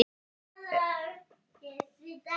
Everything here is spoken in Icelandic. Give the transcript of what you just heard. Það er heil rúlla niðri í geymslu hjá okkur, já.